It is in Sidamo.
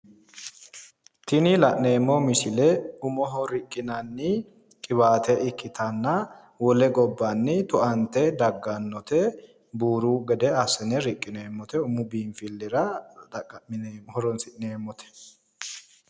Tini la'neemmo misile umoho riqqinanni qiwaate ikkitanna wole gobbanni tu"ante daggannote buuru gede assine riqqineemmote umu biinfillira horons'nemmote